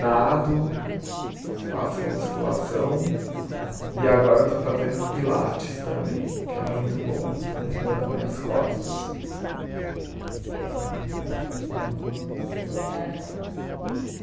Nado, faço musculação e agora estou fazendo pilates também, que é muito bom também para minhas costas. Então vamos voltar ao